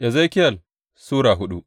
Ezekiyel Sura hudu